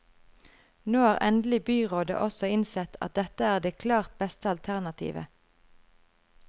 Nå har endelig byrådet også innsett at dette er det klart beste alternativet.